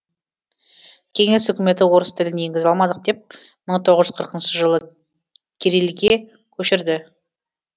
кеңес үкіметі орыс тілін енгізе алмадық деп мың тоғыз жүз қырқыншы жылы кирилл ге көшірді